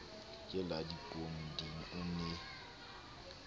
ke la dipoding o ne